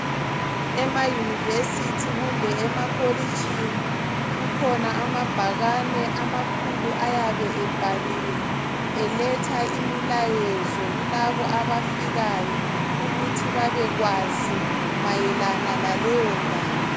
Emayunivesithi kumbe emakolitshini kukhona amabhakane amakhulu ayabe ebhaliwe eletha imilayezo kulabo abafikayo ukuthi babekwazi mayelana laleyondawo